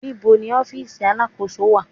Níbo ni ọ́fíìsì Alákóso wà?